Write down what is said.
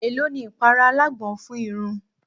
È ló ni ìpara alágbọn fún irun?